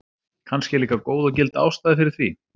Kannski er líka góð og gild ástæða fyrir því.